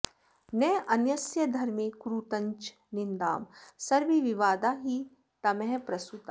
नान्यस्य धर्मे कुरुतञ्च निन्दां सर्वे विवादा हि तमःप्रसूताः